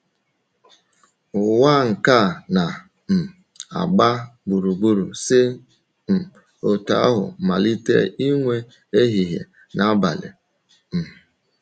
Ụwa nke na um - agba gburugburu si um otú ahụ malite inwe ehihie na abalị. um